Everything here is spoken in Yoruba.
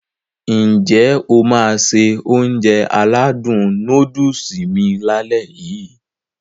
N jẹ́ o máá se Ounjẹ aládùn nóódùsì mi lálẹ́ yii?